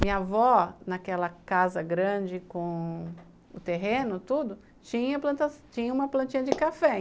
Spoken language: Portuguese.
Minha avó, naquela casa grande com o terreno, tudo, tinha uma plantinha de café.